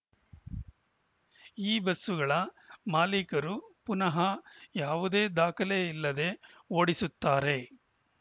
ಈ ಬಸ್ಸುಗಳ ಮಾಲೀಕರು ಪುನಃ ಯಾವುದೇ ದಾಖಲೆ ಇಲ್ಲದೆ ಓಡಿಸುತ್ತಾರೆ